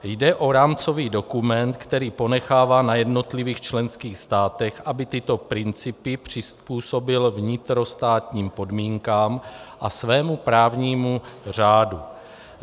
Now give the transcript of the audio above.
Jde o rámcový dokument, který ponechává na jednotlivých členských státech, aby tyto principy přizpůsobily vnitrostátním podmínkám a svému právnímu řádu.